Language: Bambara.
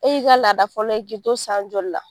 E y'i ka laada fɔlɔ ye k'i to san joli la?